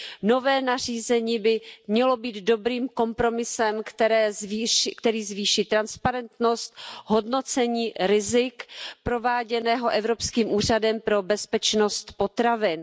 Nové nařízení by mělo být dobrým kompromisem, který zvýší transparentnost hodnocení rizik prováděného Evropským úřadem pro bezpečnost potravin.